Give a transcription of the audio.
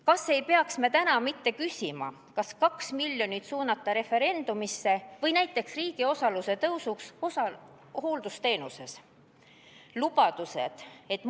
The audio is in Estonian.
Kas ei peaks me täna mitte küsima, kas suunata 2 miljonit referendumisse või näiteks riigi suuremasse osalusse hooldusteenuses?